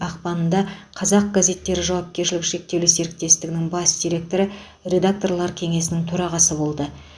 ақпанында қазақ газеттері жауапкершілігі шектеулі серіктестігінің бас директоры редакторлар кеңесінің төрағасы болды